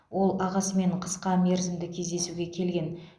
ол ағасымен қысқа мерзімді кездесуге келген